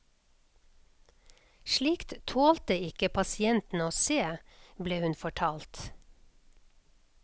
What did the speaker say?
Slikt tålte ikke pasientene å se, ble hun fortalt.